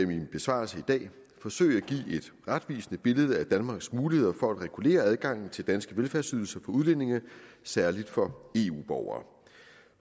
min besvarelse i dag forsøge at give et retvisende billede af danmarks muligheder for at regulere adgangen til danske velfærdsydelser for udlændinge særlig for eu borgere